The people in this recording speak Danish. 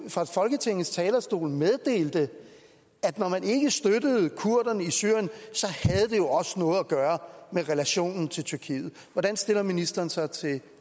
fra folketingets talerstol meddelte at når man ikke støttede kurderne i syrien havde det jo også noget at gøre med relationen til tyrkiet hvordan stiller ministeren sig til